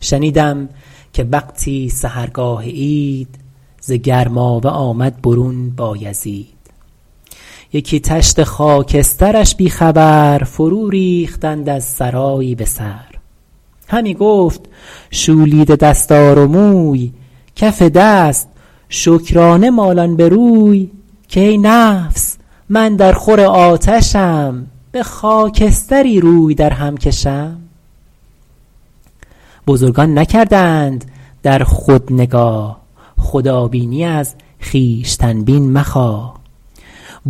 شنیدم که وقتی سحرگاه عید ز گرمابه آمد برون بایزید یکی تشت خاکسترش بی خبر فرو ریختند از سرایی به سر همی گفت شولیده دستار و موی کف دست شکرانه مالان به روی که ای نفس من در خور آتشم به خاکستری روی در هم کشم بزرگان نکردند در خود نگاه خدابینی از خویشتن بین مخواه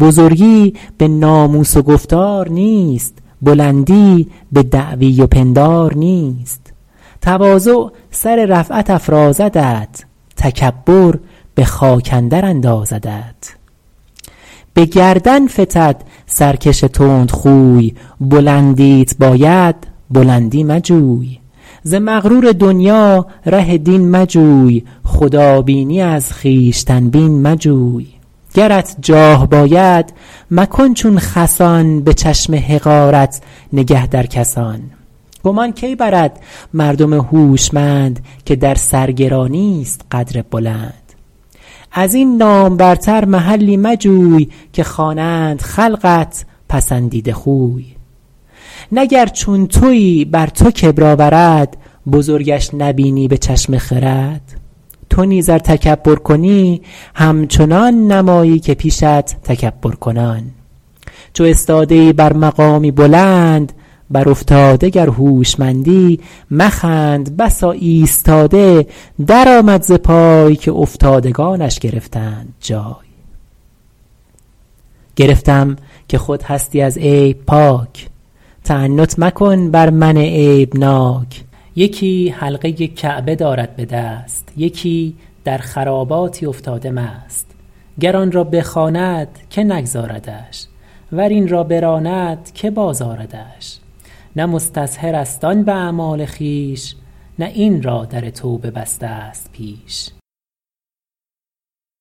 بزرگی به ناموس و گفتار نیست بلندی به دعوی و پندار نیست تواضع سر رفعت افرازدت تکبر به خاک اندر اندازدت به گردن فتد سرکش تند خوی بلندیت باید بلندی مجوی ز مغرور دنیا ره دین مجوی خدابینی از خویشتن بین مجوی گرت جاه باید مکن چون خسان به چشم حقارت نگه در کسان گمان کی برد مردم هوشمند که در سرگرانی است قدر بلند از این نامورتر محلی مجوی که خوانند خلقت پسندیده خوی نه گر چون تویی بر تو کبر آورد بزرگش نبینی به چشم خرد تو نیز ار تکبر کنی همچنان نمایی که پیشت تکبر کنان چو استاده ای بر مقامی بلند بر افتاده گر هوشمندی مخند بسا ایستاده در آمد ز پای که افتادگانش گرفتند جای گرفتم که خود هستی از عیب پاک تعنت مکن بر من عیب ناک یکی حلقه کعبه دارد به دست یکی در خراباتی افتاده مست گر آن را بخواند که نگذاردش ور این را براند که باز آردش نه مستظهر است آن به اعمال خویش نه این را در توبه بسته ست پیش